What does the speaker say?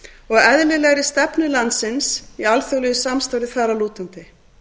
og eðlilegri stefnu landsins í alþjóðlegu samstarfi þar að lútandi